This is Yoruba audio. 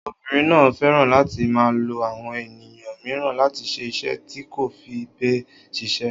Obìnrin náà fẹ́ràn láti máa lo àwọn ènìyàn mìíràn láti ṣe iṣẹ́ tí kò fi bẹ́ẹ̀ ṣiṣẹ́.